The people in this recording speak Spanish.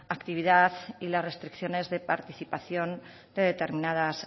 actividad y la restricciones de participación de determinadas